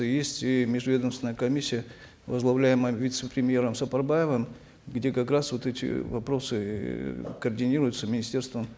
есть и межведомственная комиссия возглавляемая вице премьером сапарбаевым где как раз вот эти вопросы э координируются министерством